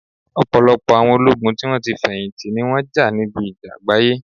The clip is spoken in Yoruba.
Ọ̀pọ̀lọpọ̀ àwọn ológun tí wón ti feyinti, ni wọn jà níbi ìjà àgbáyé